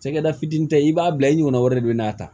Cakɛda fitinin ta ye i b'a bila i ɲɔgɔnna wɛrɛ de bɛ n'a ta